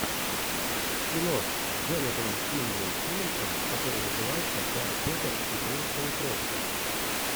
кино с джонатаном кимблом симмонсом которое называется гарри поттер и принц полукровка